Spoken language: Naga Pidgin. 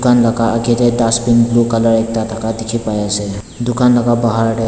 ake te dustbin blue colour ekta dhaka dekhi bai ase dukan laka bahar de.